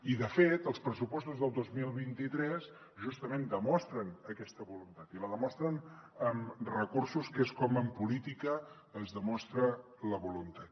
i de fet els pressupostos del dos mil vint tres justament demostren aquesta voluntat i la demostren amb recursos que és com en política es demostra la voluntat